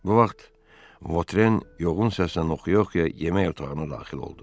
Bu vaxt Votren yoğun səslə oxuya-oxuya yemək otağına daxil oldu.